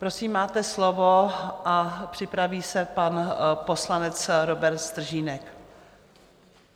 Prosím, máte slovo, a připraví se pan poslanec Robert Stržínek.